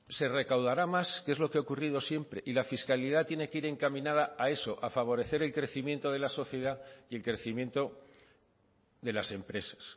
se recaudará más que es lo que ha ocurrido siempre y la fiscalidad tiene que ir encaminada a eso a favorecer el crecimiento de la sociedad y el crecimiento de las empresas